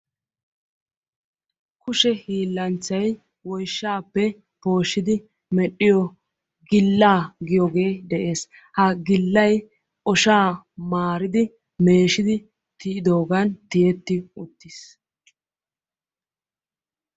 kushe hiilanchchay woyshshappe pooshshiddi medhdhiyo gila giyooge de'ees; ha gilay oshshaa maaridi meeshshidi tiyidoogan tiyeti uttiis.